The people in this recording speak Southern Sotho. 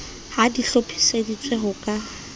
ha di hlophiseditswe ho ka